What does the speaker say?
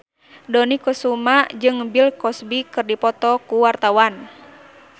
Dony Kesuma jeung Bill Cosby keur dipoto ku wartawan